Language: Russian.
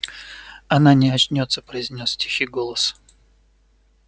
она не очнётся произнёс тихий голос